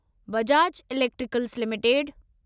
Bajaj electricals limited